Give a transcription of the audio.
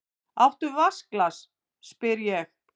Áttu vatnsglas, spyr ég.